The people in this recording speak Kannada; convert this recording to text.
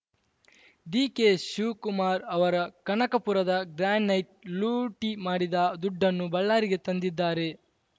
ಡಿಕೆಶಿವಕುಮಾರ್‌ ಅವರ ಕನಕಪುರದ ಗ್ರಾನೈಟ್‌ ಲೂಟಿ ಮಾಡಿದ ದುಡ್ಡನ್ನು ಬಳ್ಳಾರಿಗೆ ತಂದಿದ್ದಾರೆ